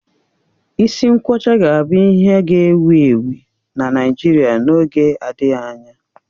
Isi nkwọcha ga-abụ ihe ga-ewu ewu na Naịjirịa n'oge adịghị anya.